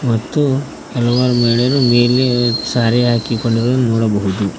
ಮತ್ತು ಹಲವಾರು ಮಹಿಳೆಯರು ನೀಲಿ ಸಾರಿ ಹಾಕಿಕೊಂಡಿರುವುದನ್ನು ನೋಡಬಹುದು.